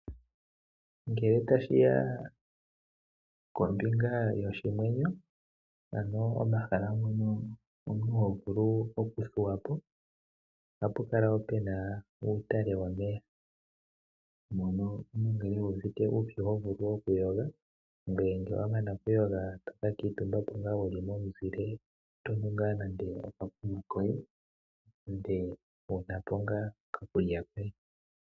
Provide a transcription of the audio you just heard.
Ngele tashi ya kombinga yoshimwenyo, ano omahala mpono omuntu ho vulu okuthuwa po, ohapu kala pu na uutale womeya mono omuntu ngele uuvite uupyu ho vulu okuyoga, ngele wa mana okuyoga to ka kuutumba po wu li momuzile to nu nande okakunwa koye , ngye wu na po ngaa okakulya koye.